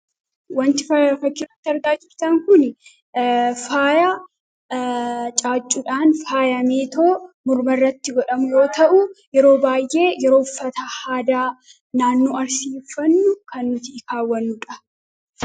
Wanti faaya fakkiirratti argaa jirtaan kun faaya caaccuudhaan faayameetoo morma irratti godhametoo ta'u yeroo baay'ee yeroo uffata aadaa naannoo arsii faana kan nuti kaawwannuudha.